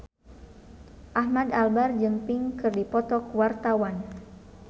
Ahmad Albar jeung Pink keur dipoto ku wartawan